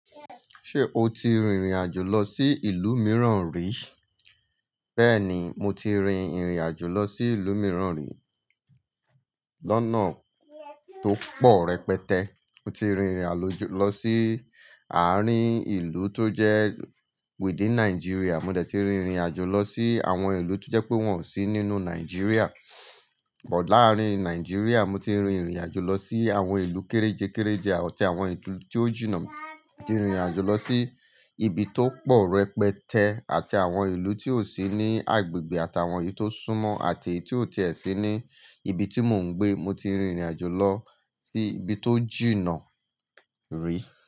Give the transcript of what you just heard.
Ṣé o ti rin ìrìn àjò lọ sí ìlú mìíràn rì? Bẹ́ẹ̀ni, mo ti rin ìrìn àjò lọ sí ìlú mìíràn rì. Lọ́nà tó pọ̀ rẹpẹtẹ, mo ti rin ìrìn àjò lọ sí àárín ìlú tó jẹ́ within Nigeria. Mo dẹ̀ ti rin ìrìn àjò lọ sí àwọn ìlú tó jẹ́ pé wọn ò sí nínú Nigeria. Ọ̀pọ̀ láàrin Nigeria, mo ti rin ìrìn àjò lọ sí àwọn ìlú kérejé kérejé àti àwọn ìlú tí ó jìnà. Mo ti rin ìrìn àjò lọ sí ibi tó pọ̀ rẹpẹtẹ àti àwọn ìlú tí ò sí ní agbègbè àti àwọn ìlú tó súnmọ́ àti èyí tí ò tí è sí ní ibi tí mò ń gbé. Mo ti rin ìrìn àjò lọ sí ibi tó jìnà rì.